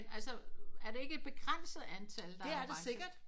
Men altså er det ikke et begrænset antal der er orange